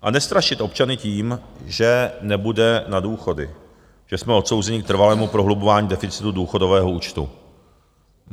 A nestrašit občany tím, že nebude na důchody, že jsme odsouzeni k trvalému prohlubování deficitu důchodového účtu.